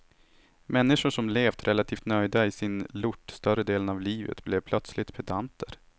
Människor som levt relativt nöjda i sin lort större delen av livet blev plötsligt pedanter.